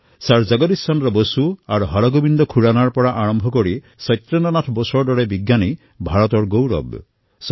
sir Jagadish Chandra Bose আৰু হৰগোৱিন্দ খোৰানাৰ পৰা আৰম্ভ কৰি সত্যেন্দ্ৰ নাথ বসুৰ দৰে বৈজ্ঞানিকসকল ভাৰতৰ গৌৰৱ হয়